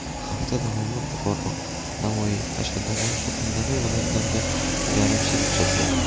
Hafta davomida Buxoro, Navoiy, Qashqadaryo, Surxondaryo viloyatlarida garmsel kuzatiladi.